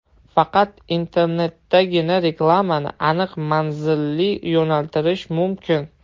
Faqat internetdagina reklamani aniq manzilli yo‘naltirish mumkin.